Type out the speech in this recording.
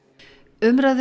umræðu